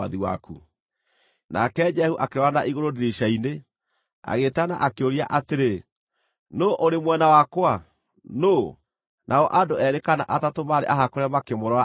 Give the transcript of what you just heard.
Nake Jehu akĩrora na igũrũ ndirica-inĩ, agĩĩtana akĩũria atĩrĩ, “Nũũ ũrĩ mwena wakwa? Nũũ?” Nao andũ eerĩ kana atatũ maarĩ ahakũre makĩmũrora arĩ thĩ.